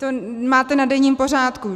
To máte na denním pořádku.